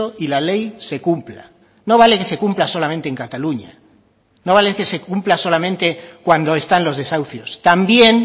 y la ley se cumpla no vale que se cumpla solamente en cataluña no vale que se cumpla solamente cuando están los desahucios también